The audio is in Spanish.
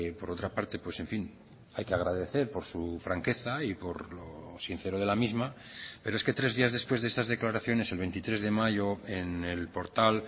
por otra parte pues en fin hay que agradecer por su franqueza y por lo sincero de la misma pero es que tres días después de estas declaraciones el veintitrés de mayo en el portal